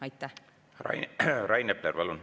Rain Epler, palun!